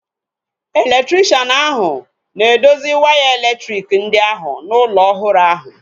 Elektrikshan ahu na-edozi waya elektriki ndị ahu n'ụlọ ọhụrụ ahu